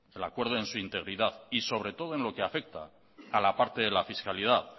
el acuerdo en su integridad y sobre todo en lo que afecta a la parte de la fiscalidad